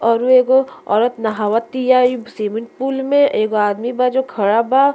अउरो एगो औरत नहावत तिया इ स्विमिंग पूल मे एगो आदमी बा जो खड़ा बा --